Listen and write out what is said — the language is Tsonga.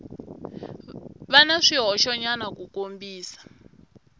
va na swihoxonyana ku kombisa